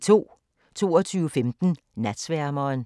22:15: Natsværmeren